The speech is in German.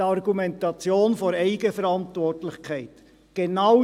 – Es wird mit der Eigenverantwortlichkeit argumentiert.